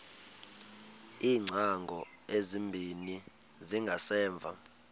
iingcango ezimbini zangasemva